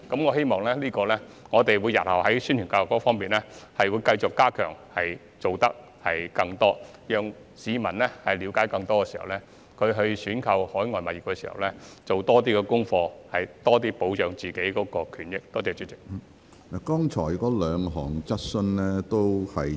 我希望日後在宣傳教育方面繼續加強我們的工作，下更多工夫，讓市民了解更多，促使他們在購買海外物業時多做功課，從而對自己的權益有更多保障。